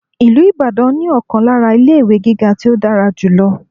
Ìlú Ìbàdàn ní ọ̀kan lára ilé-ìwé gíga tí ó dára jù lọ..